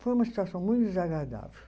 Foi uma situação muito desagradável.